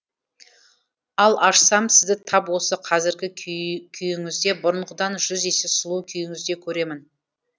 ал ашсам сізді тап осы қазіргі күйіңізде бұрынғыдан жүз есе сұлу күйіңізде көремін